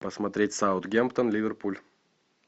посмотреть саутгемптон ливерпуль